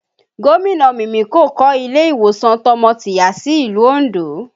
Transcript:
Gomina Mimiko kọ́ ilé ìwòsàn tọmọ-tìyá sí ìlú Ondo